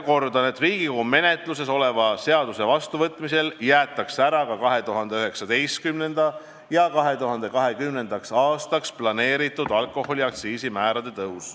Kordan, et Riigikogu menetluses oleva seaduse vastuvõtmise korral jäetakse ära ka 2019. ja 2020. aastaks planeeritud alkoholi aktsiisimäärade tõus.